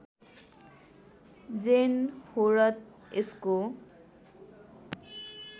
जेन हो र यसको